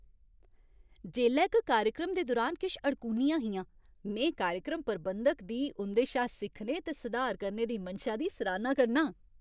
जेल्लै क कार्यक्रम दे दुरान किश अड़कूनियां हिंया, में कार्यक्रम प्रबंधक दी उं'दे शा सिक्खने ते सुधार करने दी मनशा दी सराह्ना करना आं ।